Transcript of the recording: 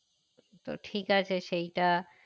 তো ঠিক আছে সেইটা